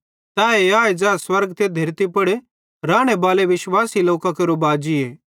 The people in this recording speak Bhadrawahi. तैए आए ज़ै स्वर्ग ते धेरती पुड़ रानेबाले विश्वासी लोकां केरो बाजी